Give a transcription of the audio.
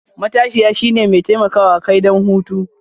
matashiya, shine mai taimakawa kai don hutu.